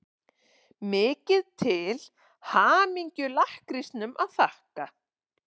Mikið til hamingju-lakkrísnum að þakka.